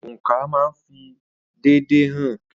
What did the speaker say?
Oǹkà máa ń fi déédéé hàn.